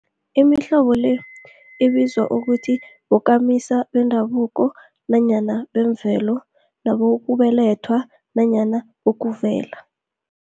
Imihlobo le ibizwa ukuthi bokamisa bendabuko nanyana bemvelo, nabokubelethwa nanyana bokuvela.